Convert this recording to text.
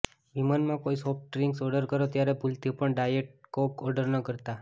વિમાનમાં કોઈ soft drinks order કરો ત્યારે ભૂલથી પણ ડાયેટ કોક ઓર્ડર ન કરતા